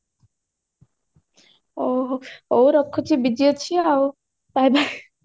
ହଉ ରଖୁଛି ଆଉ busy ଅଛି ଆଉ bye bye